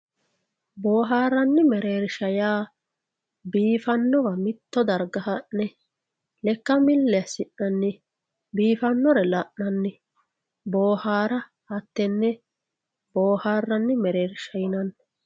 Booharran mereerisha yaa biifanowa mitto dariga ha'ne Lekka milli assina'nan Biifanore la'nan Boohara hatee booharanni mereerisha yinanni